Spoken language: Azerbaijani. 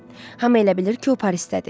Hamı elə bilir ki, o Parisdədir.